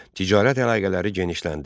Ticarət əlaqələri genişləndi.